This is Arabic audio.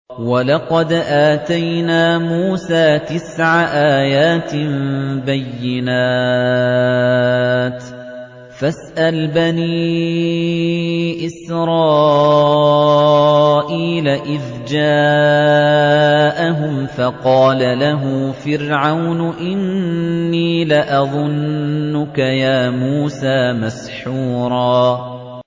وَلَقَدْ آتَيْنَا مُوسَىٰ تِسْعَ آيَاتٍ بَيِّنَاتٍ ۖ فَاسْأَلْ بَنِي إِسْرَائِيلَ إِذْ جَاءَهُمْ فَقَالَ لَهُ فِرْعَوْنُ إِنِّي لَأَظُنُّكَ يَا مُوسَىٰ مَسْحُورًا